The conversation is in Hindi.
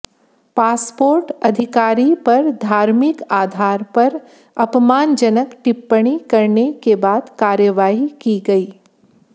पासपोर्ट अधिकारी पर धार्मिक आधार पर अपमानजनक टिप्पणी करने के बाद कार्रवाई की गई